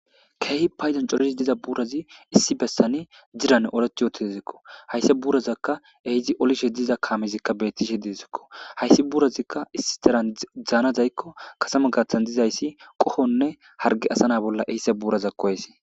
Keehi payzan corisi diza buurazi issi bessani diran oreth yootizekko haysse buurazakka ehizi olishe diza kaamezikka beettishe didizikko hayssi buurazikka issi daran dzaanazaykko kasama gaaththan dizayssi qohonne harge asana bolla eysse buurazak kohese.